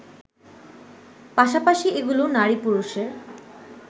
পাশাপাশি এগুলো নারী-পুরুষের